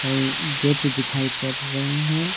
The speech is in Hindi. और गेट दिखाई पड़ रहे है।